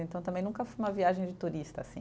Então, também nunca foi uma viagem de turista, assim.